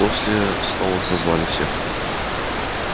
после завтрака сноуболл и наполеон снова созвали всех